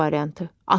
C variantı.